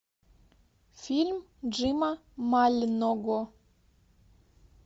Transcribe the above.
фильм джима мального